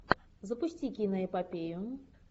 запусти киноэпопею